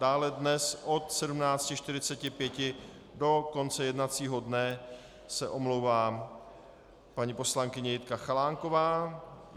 Dále dnes od 17.45 do konce jednacího dne se omlouvá paní poslankyně Jitka Chalánková.